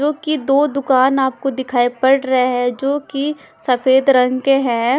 क्योंकि दो दूकान आपको दिखाई पड़ रहे है जोकि सफेद रंग के हैं।